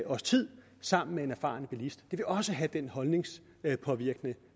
års tid sammen med en erfaren bilist vil det også have den holdningspåvirkende